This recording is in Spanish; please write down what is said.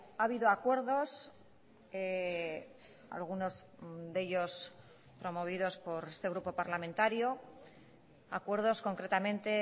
ha habido acuerdos algunos de ellos promovidos por este grupo parlamentario acuerdos concretamente